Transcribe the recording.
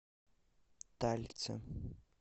талица